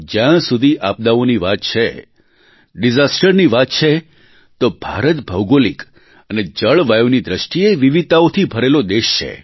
જ્યાં સુધી આપદાઓની વાત છે ડિઝાસ્ટરની વાત છે તો ભારત ભૌગોલિક અને જળવાયુની દ્રષ્ટિએ વિવિધતાઓથી ભરેલો દેશ છે